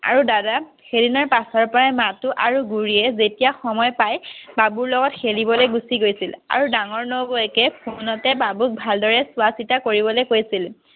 আৰু দাদাক সেই দিনা পাছৰ পৰাই মাথো আৰু বুলিয়ে যেতিয়া সময় পায় বাবু লগত খেলিবলৈ গুচি গৈছিল। আৰু ডাঙৰ নবৌৱেকে phone তে বাবুক ভাল দৰে চোৱা চিতা কৰিবলৈ কৈছিল।